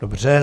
Dobře.